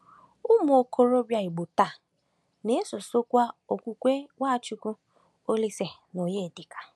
Ụmụ okorobịa Igbo taa na-esosokwa okwukwe NwaChukwu, Olísè, na Onyedika.